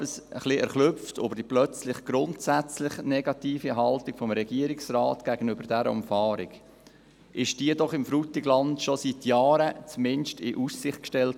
Ich bin schon etwas erschrocken über die auf einmal grundsätzlich negative Haltung des Regierungsrates gegenüber dieser Umfahrung, wurde diese doch dem Frutigland zumindest in Aussicht gestellt.